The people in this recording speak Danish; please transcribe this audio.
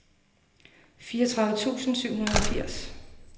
fireogtredive tusind syv hundrede og firs